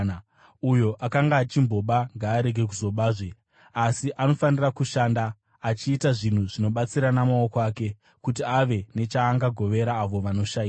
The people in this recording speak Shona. Uyo akanga achimboba ngaarege kuzobazve, asi anofanira kushanda, achiita zvinhu zvinobatsira namaoko ake, kuti ave nechaangagovera avo vanoshayiwa.